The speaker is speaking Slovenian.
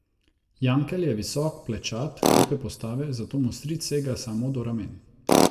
Jankel je visok, plečat, lepe postave, zato mu stric sega samo do ramen.